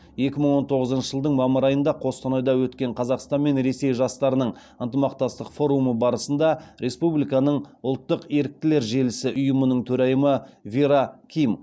екі мың он тоғызыншы жылдың мамыр айында қостанайда өткен қазақстан мен ресей жастарының ынтымақтастық форумы барысында республиканың ұлттық еріктілер желісі ұйымының төрайымы вера ким